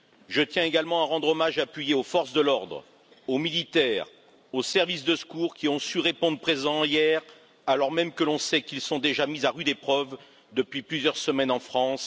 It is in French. Je tiens également à rendre un hommage appuyé aux forces de l'ordre, aux militaires, aux services de secours qui ont su répondre présent hier, alors même que l'on sait qu'ils sont déjà mis à rude épreuve depuis plusieurs semaines en France.